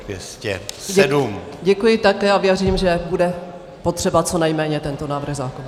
Děkuji také a věřím, že bude potřeba co nejméně tento návrh zákona.